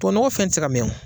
Tuwawu nɔgɔ fɛn ti se ka mɛ o